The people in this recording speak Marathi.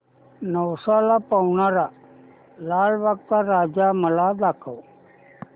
नवसाला पावणारा लालबागचा राजा मला दाखव